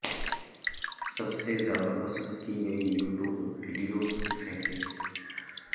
سب سے زیادہ پسند کی گئی یوٹیوب ویڈیوز کی فہرست